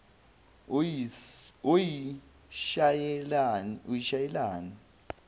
uyishayelani